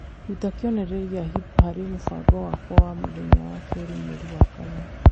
ruta kĩonereria gĩa hip harĩ mũbango wakwa wa mũthenya wa kerĩ mweri wa kana.